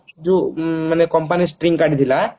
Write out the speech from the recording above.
ମାନେ ଯୋଉ company string କାଢିଥିଲା